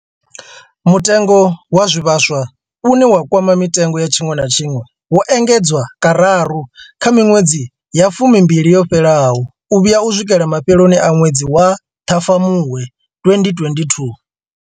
Mutengo wa zwivhaswa, une wa kwama mitengo ya tshiṅwe na tshiṅwe, wo engedzwa kararu kha miṅwedzi ya fumimbili yo fhelaho u vhuya u swikela mafheloni a ṅwedzi wa Ṱhafamuhwe 2022.